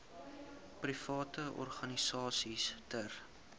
private organisasies ter